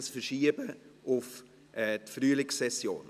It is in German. Wir verschieben dies auf die Frühlingssession.